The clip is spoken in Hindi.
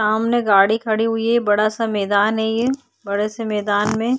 सामने गाडी खड़ी हुई है बड़ा सा मैदान है ये बड़े से मैदान में --